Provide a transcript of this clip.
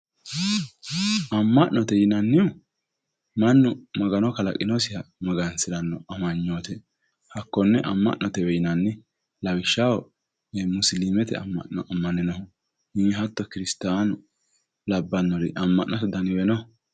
Ama'note yinnannihu mannu Magano kalaqinosiha magansirano amanyote hakkone ama'notewe yinnanni lawishshaho musilimete ama'no amaninohu hatto kirisittanu labbanori ama'note danniwe no.